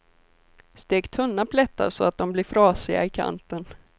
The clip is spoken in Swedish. Stek tunna plättar så att de blir frasiga i kanten.